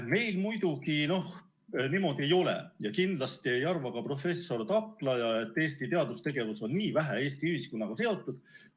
Meil muidugi niimoodi ei ole ja kindlasti ei arva ka professor Taklaja, et Eesti teadustegevus on nii vähe Eesti ühiskonnaga seotud.